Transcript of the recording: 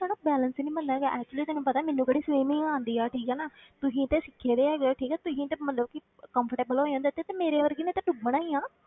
ਸਾਡਾ balance ਹੀ ਨੀ ਬਣਦਾ ਹੈਗਾ actually ਤੈਨੂੰ ਪਤਾ ਹੈ ਮੈਨੂੰ ਕਿਹੜੀ swimming ਆਉਂਦੀ ਹੈ ਠੀਕ ਹੈ ਨਾ ਤੁਸੀਂ ਤੇ ਸਿੱਖਦੇ ਹੈਗੇ, ਠੀਕ ਹੈ ਤੁਸੀਂ ਤੇ ਮਤਲਬ ਕਿ comfortable ਹੋ ਜਾਂਦੇ ਤੇ ਤੇ ਮੇਰੇ ਵਰਗੀ ਨੇ ਤੇ ਡੁੱਬਣਾ ਹੀ ਆਂ।